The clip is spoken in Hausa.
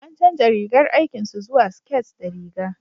an canja rigar aikin su zuwa siket da riga